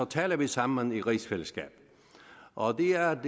taler vi sammen i rigsfællesskabet og det er